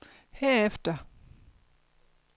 herefter